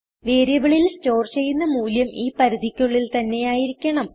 വേരിയബിളിൽ സ്റ്റോർ ചെയ്യുന്ന മൂല്യം ഈ പരിധികൾക്കുള്ളിൽ തന്നെയായിരിക്കണം